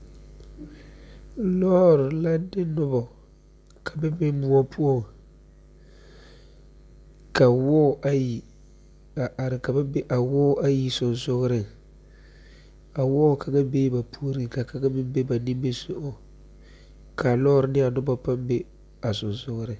Lɔɔr la de noba ka ba be moɔ poɔ, ka wɔɔ ayi a are ka ba be a wɔɔ ayi soŋsogliŋ, ka wɔɔ kaŋa be ba puoriŋ ka kaŋa be nimi sogɔŋ kaa lɔɔr ne a noba paŋ be a soŋsogliŋ.